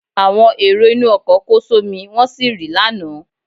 Àwọn èrò inú ọkọ̀ kó só mí wọ́n sì rì lánàá.